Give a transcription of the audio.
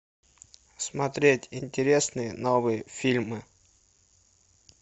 смотреть интересные новые фильмы